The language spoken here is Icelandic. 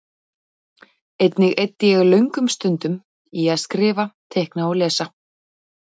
Einnig eyddi ég löngum stundum í að skrifa, teikna og lesa.